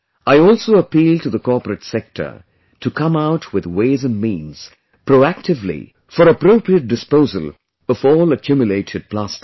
I also appeal to the corporate sector to come out with ways & means proactively for appropriate disposal of all accumulated plastic